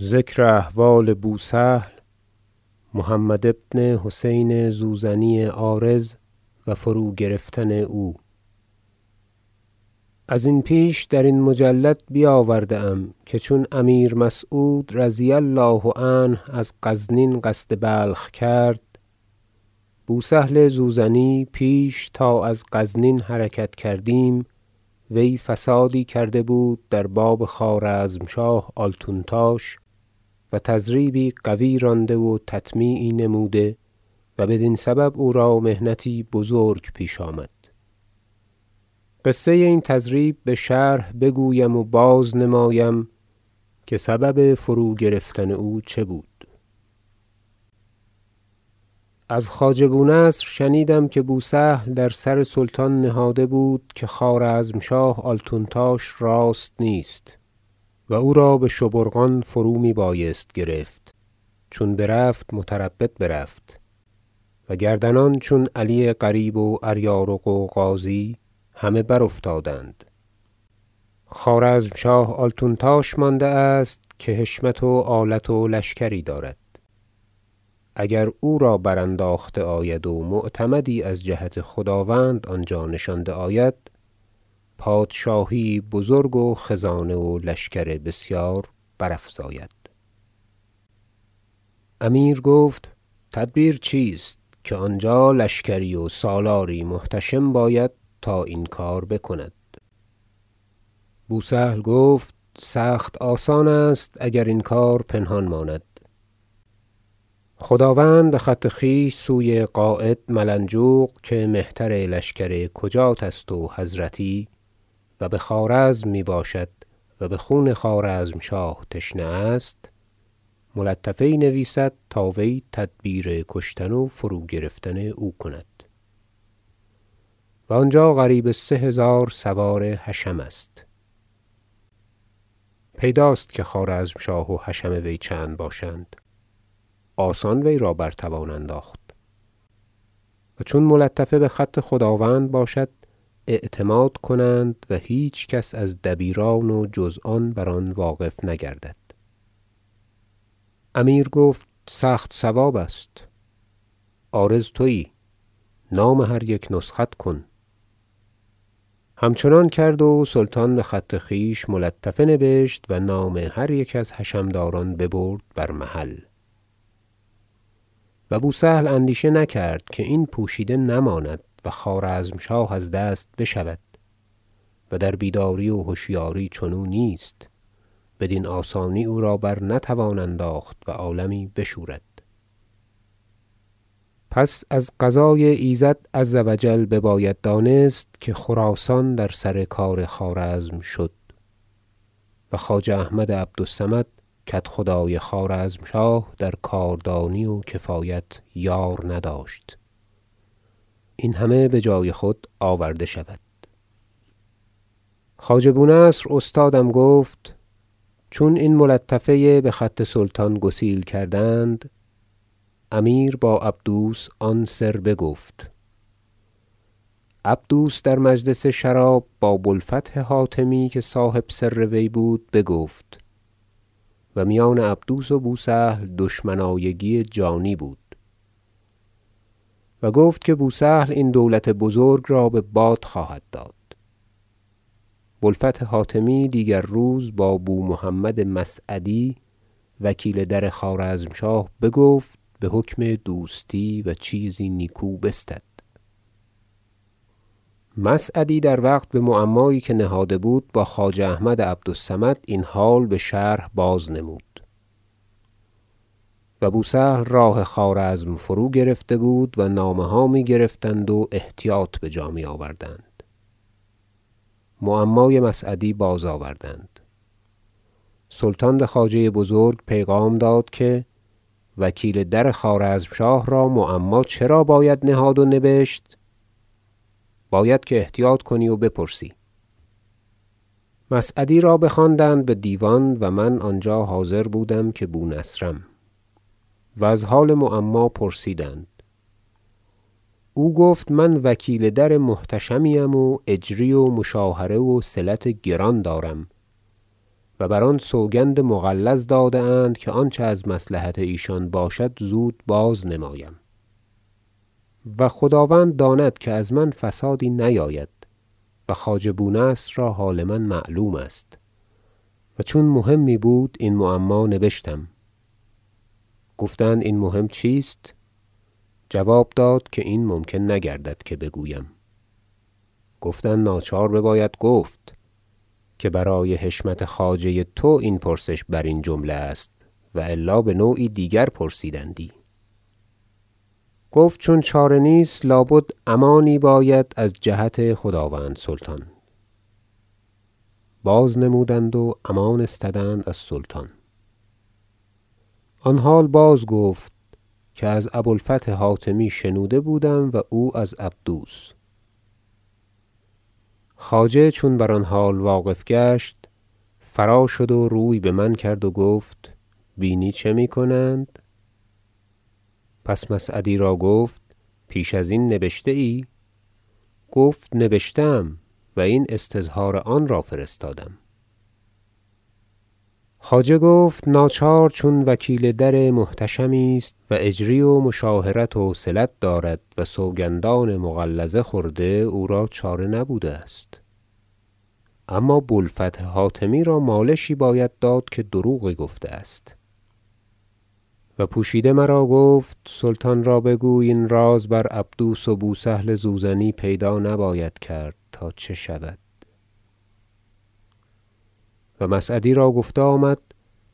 ذکر احوال بوسهل محمد بن حسین زوزنی عارض و فروگرفتن او ازین پیش درین مجلد بیاورده ام که چون امیر مسعود رضی الله عنه از غزنین قصد بلخ کرد بوسهل زوزنی پیش تا از غزنین حرکت کردیم وی فسادی کرده بود در باب خوارزمشاه آلتونتاش و تضریبی قوی رانده و تطمیعی نموده و بدین سبب او را محنتی بزرگ پیش آمد قصه این تضریب بشرح بگویم و باز که سبب فروگرفتن او چه بود از خواجه بونصر شنیدم که بوسهل در سر سلطان بود که خوارزمشاه آلتونتاش راست نیست و او را بشبورقان فرو میبایست گرفت چون برفت متربد رفت و گردنان چون علی قریب واریارق و غازی همه برافتادند خوارزمشاه آلتونتاش مانده است که حشمت و آلت و لشکری دارد اگر او را برانداخته آید و معتمدی از جهت خداوند آنجا نشانده آید پادشاهی یی بزرگ و خزانه و لشکر بسیار برافزاید امیر گفت تدبیر چیست که آنجا لشکری و سالاری محتشم باید تا این کار بکند بوسهل گفت سخت آسان است اگر این کار پنهان ماند خداوند بخط خویش سوی قاید ملنجوق که مهتر لشکر کجاتست و حضرتی و بخوارزم میباشد و بخون خوارزمشاه تشنه است ملطفه یی نویسد تا وی تدبیر کشتن و فروگرفتن او کند و آنجا قریب سه هزار سوار حشم است پیداست که خوارزمشاه و حشم وی چند باشند آسان وی را بر توان انداخت و چون ملطفه بخط خداوند باشد اعتماد کنند و هیچ کس از دبیران و جز آن بر آن واقف نگردد امیر گفت سخت صواب است عارض تویی نام هر یک نسخت کن همچنان کرد و سلطان بخط خویش ملطفه نبشت و نام هر یک از حشم داران ببرد بر محل و بوسهل اندیشه نکرد که این پوشیده نماند و خوارزمشاه از دست بشود و در بیداری و هشیاری چنو نیست بدین آسانی او را برنتوان انداخت و عالمی بشورد پس از قضای ایزد عز و جل بباید دانست که خراسان در سر کار خوارزم شد و خواجه احمد عبد الصمد کدخدای خوارزمشاه در کاردانی و کفایت یار نداشت این همه بجای خود آورده شود خواجه بونصر استادم گفت چون این ملطفه بخط سلطان گسیل کردند امیر با عبدوس آن سر بگفت عبدوس در مجلس شراب با بوالفتح حاتمی که صاحب سر وی بود بگفت- و میان عبدوس و بوسهل دشمنایگی جانی بود- و گفت که بوسهل این دولت بزرگ را بباد خواهد داد بوالفتح حاتمی دیگر روز با بومحمد مسعدی وکیل در خوارزمشاه بگفت بحکم دوستی و چیزی نیکو بستد مسعدی در وقت بمعمایی که نهاده بود با خواجه احمد عبد الصمد این حال بشرح باز نمود و بوسهل راه خوارزم فروگرفته بود و نامه ها می گرفتند و احتیاط بجا می آوردند معمای مسعدی بازآوردند سلطان بخواجه بزرگ پیغام داد که وکیل در خوارزمشاه را معما چرا باید نهاد و نبشت باید که احتیاط کنی و بپرسی مسعدی را بخواندند بدیوان و من آنجا حاضر بودم که بونصرم و از حال معما پرسیدند او گفت من وکیل در محتشمی ام و اجری و مشاهره وصلت گران دارم و بر آن سوگندان مغلظ داده اند که آنچه از مصلحت ایشان باشد زود بازنمایم و خداوند داند که از من فسادی نیاید و خواجه بونصر را حال من معلوم است و چون مهمی بود این معما نبشتم گفتند این مهم چیست جواب داد که این ممکن نگردد که بگویم گفتند ناچار بباید گفت که برای حشمت خواجه تو این پرسش برین جمله است والا بنوعی دیگر پرسیدندی گفت چون چاره نیست لابد امانی باید از جهت خداوند سلطان بازنمودند و امان استدند از سلطان آن حال باز گفت که از ابو الفتح حاتمی شنوده بودم و او از عبدوس خواجه چون بر آن حال واقف گشت فرا شد و روی بمن کرد و گفت بینی چه میکنند پس مسعدی را گفت پیش ازین نبشته ای گفت نبشته ام و این استظهار آنرا فرستادم خواجه گفت ناچار چون وکیل در محتشمی است و اجری و مشاهره وصلت دارد و سوگندان مغلظه خورده او را چاره نبوده است اما بوالفتح حاتمی را مالشی باید داد که دروغی گفته است و پوشیده مرا گفت سلطان را بگوی این راز بر عبدوس و بوسهل زوزنی پیدا نباید کرد تا چه شود و مسعدی را گفته آمد